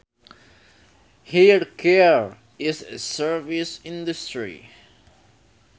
Hair care is a service industry